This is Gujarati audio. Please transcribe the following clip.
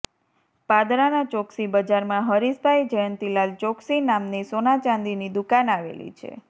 પાદરાના ચોક્સી બજારમાં હરીશભાઇ જયંતીલાલ ચોક્સી નામની સોના ચાંદીની દુકાન આવેલી છે